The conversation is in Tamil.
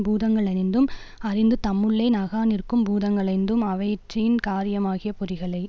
பூதங்களைந்தும் அறிந்து தம்முள்ளே நகாநிற்கும் பூதங்களைந்தும் அவயிற்றின் காரியமாகிய பொறிகளை